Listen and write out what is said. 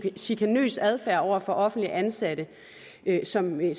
chikanøs adfærd over for offentligt ansatte som en